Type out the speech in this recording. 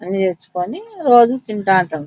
అని తెచ్చుకొని రోజు తింటే ఉంటాం.